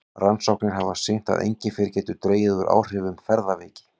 Rannsóknir hafa sýnt að engifer getur dregið úr áhrifum ferðaveiki.